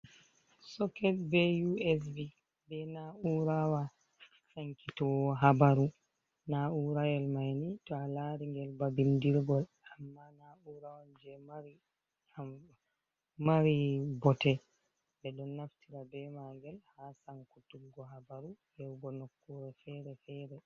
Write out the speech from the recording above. Soket be USB be Na'urawa sankitowo habaru. Na'urayel mai ni to alaringel ba bindirgol amma na'ura on je mari bote. Ɓe ɗon naftira be maangel ha sankutuggo habaru yahugo nokkure fere-fere.